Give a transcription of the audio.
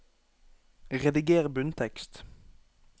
Rediger bunntekst